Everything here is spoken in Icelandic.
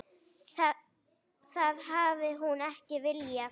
Það hafi hún ekki viljað.